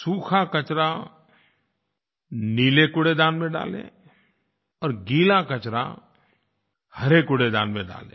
सूखा कचरा नीले कूड़ेदान में डालें और गीला कचरा हरे कूड़ेदान में डालें